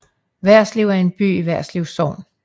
Værslev er en by i Værslev Sogn